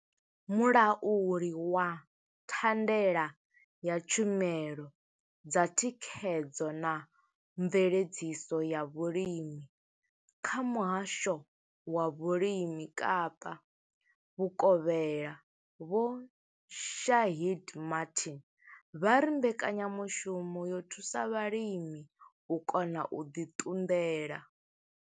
Mulauli wa thandela ya tshumelo dza thikhedzo na mveledziso ya vhulimi kha muhasho wa vhulimi Kapa vhukovhela Vho Shaheed Martin vha ri mbekanyamushumo yo thusa vhalimi u kona u ḓi ṱunḓela.